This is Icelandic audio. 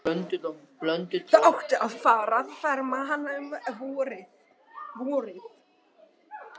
Það átti að fara að ferma hana um vorið.